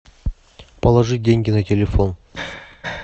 положи деньги на телефон